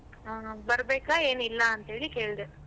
ಅಹ್ ಬರ್ಬೇಕಾ ಏನಿಲ್ಲ ಅಂತ ಹೇಳಿ ಕೇಳ್ದೆ.